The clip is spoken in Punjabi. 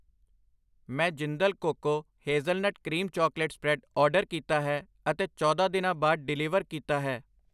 ਮੈਂ Jindal cocoa hazelnut cream chocolate spread order ਕੀਤਾ ਹੈ ਅਤੇ ਚੌਦਾਂ ਦਿਨਾਂ ਬਾਅਦ ਡਿਲੀਵਰ ਕੀਤਾ ਹੈ ।